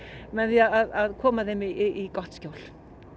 með því að koma þeim í gott skjól